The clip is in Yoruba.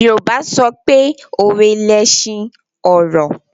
Yorùbá sọpé “ òwe lẹṣin ọ̀rọ̀”.